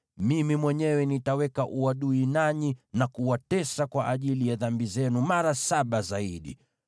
mimi mwenyewe nitaweka uadui nanyi, na kuwatesa kwa ajili ya dhambi zenu mara saba zaidi.